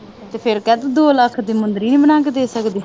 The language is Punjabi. ਤੇ ਫਿਰ ਕਹਿ ਤੂੰ ਦੋ ਲੱਖ ਦੀ ਮੁੰਦਰੀ ਨਹੀਂ ਬਣਾ ਕੇ ਦੇ ਸਕਦੀ।